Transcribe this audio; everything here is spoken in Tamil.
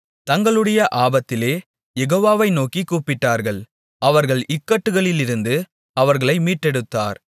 தங்களுடைய ஆபத்திலே யெகோவாவை நோக்கிக் கூப்பிட்டார்கள் அவர்கள் இக்கட்டுகளிலிருந்து அவர்களை மீட்டெடுத்தார்